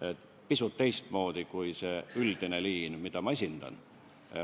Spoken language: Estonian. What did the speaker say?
nimelt pisut teistmoodi, kui on see üldine liin, mida ma esindan.